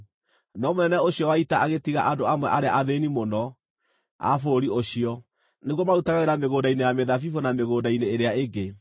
No mũnene ũcio wa ita agĩtigia andũ amwe a arĩa athĩĩni mũno a bũrũri ũcio, nĩguo marutage wĩra mĩgũnda-inĩ ya mĩthabibũ na mĩgũnda-inĩ ĩrĩa ĩngĩ.